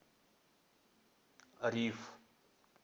риф